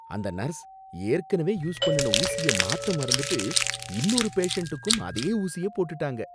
அந்த நர்ஸ் ஏற்கனவே யூஸ் பண்ணுன ஊசிய மாத்த மறந்துட்டு இன்னொரு பேஷண்ட்டுக்கும் அதே ஊசிய போட்டுட்டாங்க.